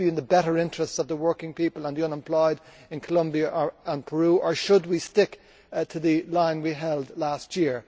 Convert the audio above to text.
Will this be in the better interests of the working people and the unemployed in Colombia and Peru, or should we stick to the line we held last year?